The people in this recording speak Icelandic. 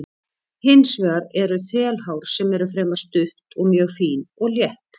Hins vegar eru þelhár sem eru fremur stutt og mjög fín og létt.